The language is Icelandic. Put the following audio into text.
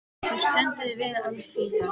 Þú stendur þig vel, Alfífa!